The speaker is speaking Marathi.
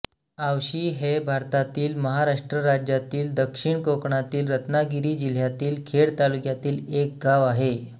आवशी हे भारतातील महाराष्ट्र राज्यातील दक्षिण कोकणातील रत्नागिरी जिल्ह्यातील खेड तालुक्यातील एक गाव आहे